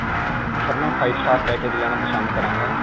sir, ਮੈਂ five star package ਲੈਣਾ ਪਸੰਦ ਕਰਾਂਗਾ.